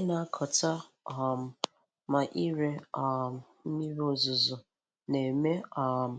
Ịnakọta um ma ire um mmiri ozuzo na-eme um